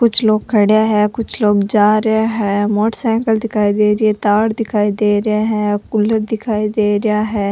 कुछ लोग खड्या है कुछ लोग जा रहा है मोटर साइकल दिखाई दे री है तार दिखाई दे रे है कूलर दिखाई दे रेहा है।